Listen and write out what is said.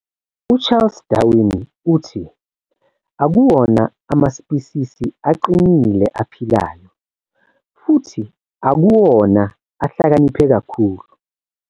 U-Charles Darwin uthi, 'akuwona amaspisisi aqinile aphilayo, futhi akuwona ahlakaniphe kakhulu.